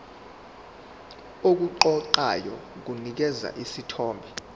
okuqoqayo kunikeza isithombe